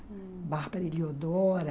Ah, Bárbara Heliodora...